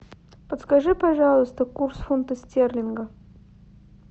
подскажи пожалуйста курс фунта стерлинга